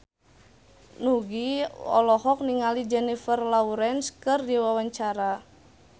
Nugie olohok ningali Jennifer Lawrence keur diwawancara